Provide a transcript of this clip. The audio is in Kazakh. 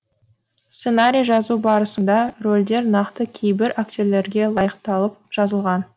сценарий жазу барысында рөлдер нақты кейбір актерлерге лайықталып жазылған